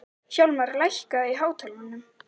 Hjálmar, lækkaðu í hátalaranum.